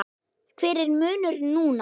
Hver er munurinn núna?